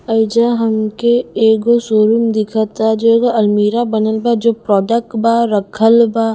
एइजा हमके एगो शोरूम दिखता जो एगो आलमीरा बनल बा जो प्रॉडक्ट बा रखल बा--